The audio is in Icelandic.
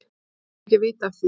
Fólk þarf ekki að vita af því.